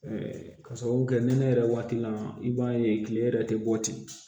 ka sababu kɛ nɛnɛ waati la i b'a ye kile yɛrɛ tɛ bɔ ten